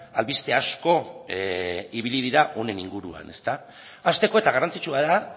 albiste asko ibili dira honen inguruan hasteko eta garrantzitsua da